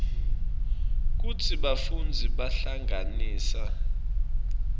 kutsi bafundzi bahlanganisa